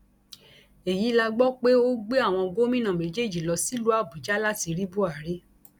èyí la gbọ pé ó gbé àwọn gómìnà méjèèjì lọ sílùú àbújá láti rí buhari